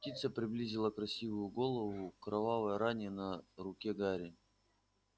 птица приблизила красивую голову к кровавой ране на руке гарри